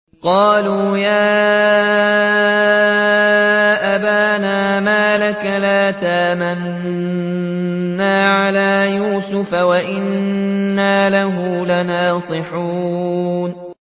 قَالُوا يَا أَبَانَا مَا لَكَ لَا تَأْمَنَّا عَلَىٰ يُوسُفَ وَإِنَّا لَهُ لَنَاصِحُونَ